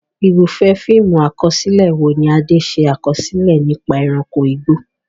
Irúfẹ́ fíìmù àkọsílẹ̀ wo ni Ade ṣe àkọsílẹ̀ nípa ẹranko igbó?